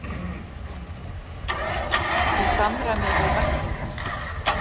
Í samræmi við væntingar